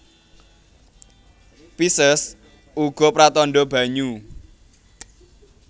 Pisces uga pratandha banyu